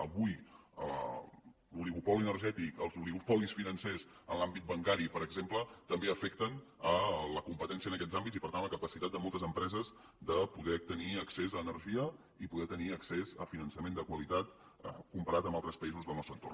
avui l’oligopoli energètic els oligopolis financers en l’àmbit bancari per exemple també afecten la competència en aquests àmbits i per tant la capacitat de moltes empreses de poder tenir accés a energia i poder tenir accés a finançament de qualitat comparat amb altres països del nostre entorn